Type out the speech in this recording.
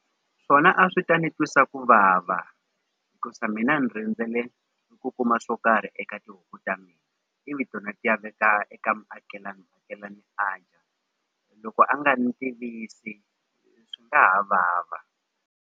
Swona a swi ta ni twisa ku vava hikusa mina ni rindzele ni ku kuma swo karhi eka tihuku ta mina ivi tona ti ya veka eka muakelani loko a nga ni tivisi swi nga ha vava.